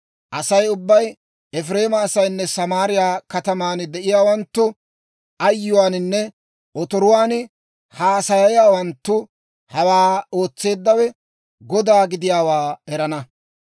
Asay ubbay, Efireema asaynne Samaariyaa kataman de'iyaawanttu, ayyuwaaninne otoruwaan haasayiyaawanttu, hawaa ootseeddawe Godaa gidiyaawaa erana.